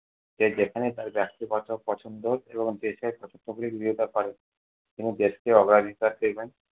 যে যেখানে তার ব্যক্তিগত পছন্দ এবং দেশের পছন্দগুলি বিবৃতি করেন। তিনি দেশকে অগ্রাধিকার দেবেন।